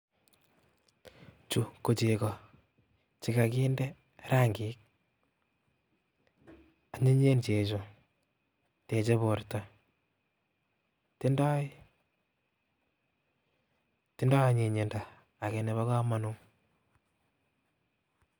Chu kochego chekakinde rangik anyinyen chechu teche borto tindoi, tindoi anyinyindo ake nebo kamanut.